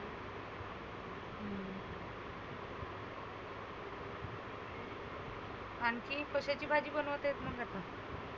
आनखी कशाची भाजी बनवतेस मग आता?